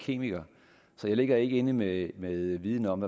kemiker så jeg ligger ikke inde med med viden om